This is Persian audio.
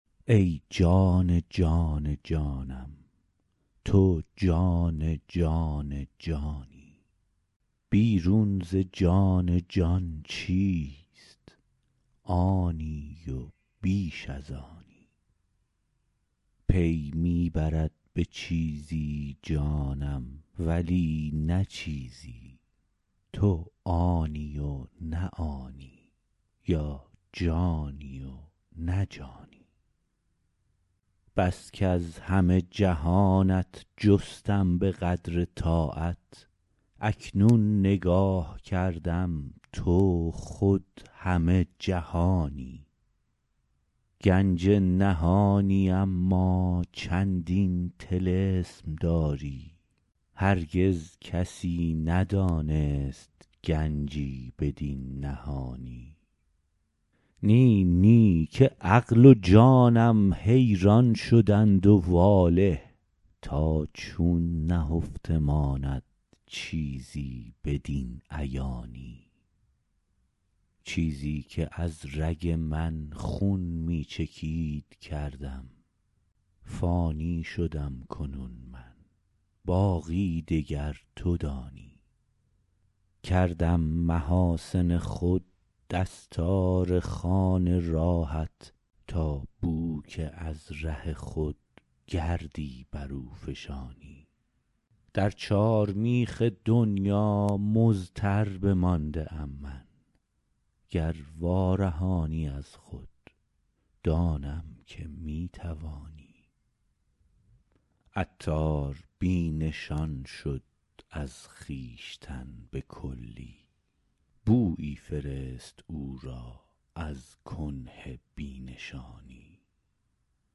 ای جان جان جانم تو جان جان جانی بیرون ز جان جان چیست آنی و بیش از آنی پی می برد به چیزی جانم ولی نه چیزی تو آنی و نه آنی یا جانی و نه جانی بس کز همه جهانت جستم به قدر طاقت اکنون نگاه کردم تو خود همه جهانی گنج نهانی اما چندین طلسم داری هرگز کسی ندانست گنجی بدین نهانی نی نی که عقل و جانم حیران شدند و واله تا چون نهفته ماند چیزی بدین عیانی چیزی که از رگ من خون می چکید کردم فانی شدم کنون من باقی دگر تو دانی کردم محاسن خود دستار خوان راهت تا بو که از ره خود گردی برو فشانی در چار میخ دنیا مضطر بمانده ام من گر وارهانی از خود دانم که می توانی عطار بی نشان شد از خویشتن بکلی بویی فرست او را از کنه بی نشانی